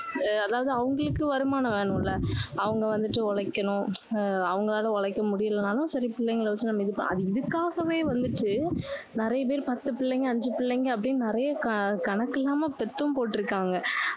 ஆஹ் அதாவது அவங்களுக்கு வருமானம் வேணும்ல. அவங்க வந்துட்டு உழைக்கணும், ஆஹ் அவங்களால உழைக்க முடியலைன்னாலும் சரி பிள்ளைகளை வச்சு நம்ம இது~ அது இதுக்காகவே வந்துட்டு நிறைய பேர் பத்து பிள்ளைங்க அஞ்சு பிள்ளைங்க அப்படின்னு நிறைய க~ கணக்கு இல்லாம பெத்தும் போட்டிருக்காங்க.